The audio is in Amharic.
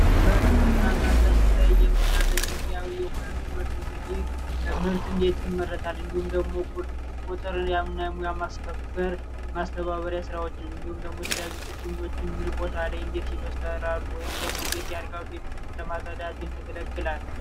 በግብርና ዘርፉ ላይ የምናገኘው ሙያዊ የሆነ ትምህርት እንግዲህ ምርት እንዴት ይመረታል እንዲሁም ደግሞ የተለያዩ ችግኞችን የተለያየ ቦታ ላይ ይተከላሉ እንዲሁም ያድጋሉ የሚለውን ለማወቅ ያገለግላል።